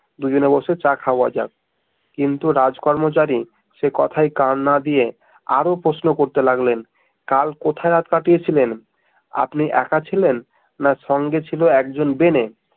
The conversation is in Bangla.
দু জনে বসে চা খাওয়া যাক কিন্তু রাজ কর্মচারী সেই কথায় কান না দিয়ে আরো প্রশ্ন করতে লাগলেন কাল কোথায় রাত কাটিয়েছিলেন? আপনি একা ছিলেন? না সঙ্গে ছিল একজন ভেনে?